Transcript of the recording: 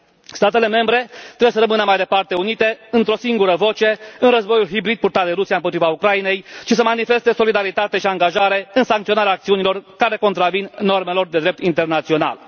Statele membre trebuie să rămână mai departe unite, într o singură voce, în războiul hibrid purtat de Rusia împotriva Ucrainei, și să manifeste solidaritate și angajare în sancționarea acțiunilor care contravin normelor de drept internațional.